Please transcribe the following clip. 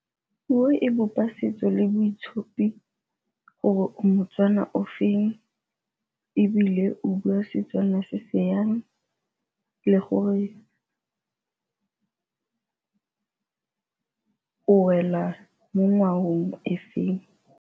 Puo e bopa setso le boitshupi gore moTswana o feng ebile o bua Setswana se se yang, le gore o wela mo ngwageng e feng.